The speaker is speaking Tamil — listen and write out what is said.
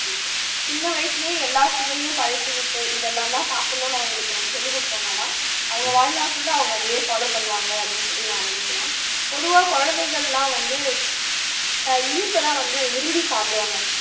சின்ன வயசுலயே எல்லா சுவையும் பழக்கி விட்டு இதெல்லாம் தான் சாப்பிடணும்னு அவங்களுக்கு நம்ம சொல்லிகொடுத்தோம்னா தான் அவங்க வாழ்நாள் full ஆ அதையே follow பண்ணுவாங்க அப்படின்னு சொல்லி நான் நினைக்குறேன் பொதுவா குழந்தைங்க எல்லாம் வந்து ஆஹ் இனிப்பை தான் வந்து விரும்பி சாப்பிடுவாங்க